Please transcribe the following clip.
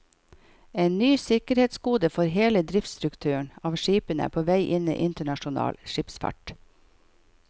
En ny sikkerhetskode for hele driftsstrukturen av skipene er på vei inn i internasjonal skipsfart.